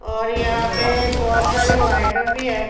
और यहां पे बहुत सारी लाइटर भी हैं।